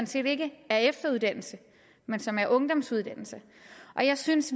set ikke er efteruddannelse men som er ungdomsuddannelse jeg synes